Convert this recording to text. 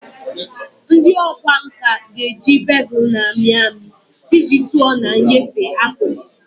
Ndị ọkwá nkà ga-eji bevel na-amị amị iji tụọ na nyefee akụkụ